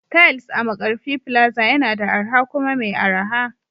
Tiles a Markarfi plaza yana da arha kuma mai araha